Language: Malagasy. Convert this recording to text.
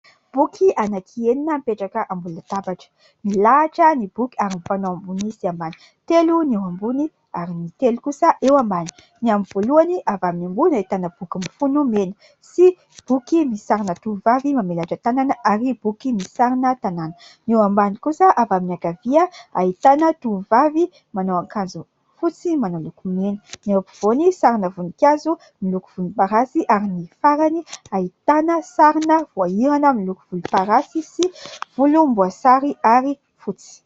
Boky anankienina mipetraka ambony latabatra. Milahatra ny boky ary mifanao ambony sy ambany. Telo ny eo ambony ary ny telo kosa eo ambany. Ny amin'ny voalohany avy amin'ny ambony ahitana boky mifono mena sy boky misy sarina tovovavy mamelatra tanana ary boky misy sarina tanàna. Eo ambany kosa avy amin'ny ankavia ahitana tovovavy manao akanjo fotsy manao lokomena, ny eo ampovoany sarina voninkazo miloko volomparasy ary ny farany ahitana sarina voahirana miloko volomparasy sy volomboasary ary fotsy.